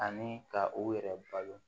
Ani ka u yɛrɛ balo